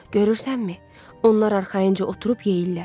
Görürsənmi, onlar arxayınca oturub yeyirlər.